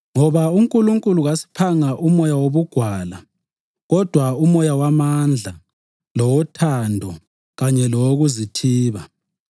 Ngoba uNkulunkulu kasiphanga umoya wobugwala kodwa umoya wamandla, lowothando kanye lowokuzithiba.